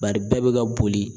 Bari bɛɛ bɛ ka boli